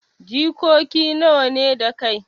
Jikoki nawa ne da kai.